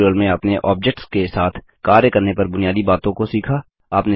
इस ट्यूटोरियल में आपने ऑब्जेक्ट्स के साथ कार्य करने पर बुनियादी बातों को सीखा